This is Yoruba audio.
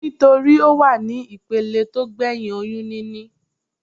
Nítorí Ó wà ní ìpele tó gbẹ̀hìn oyún níní.